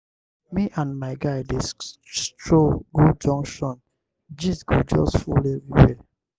me and my guy dey stroll go junction gist go just full everywhere.